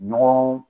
Ɲɔgɔn